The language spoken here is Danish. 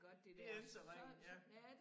Det ikke så ringe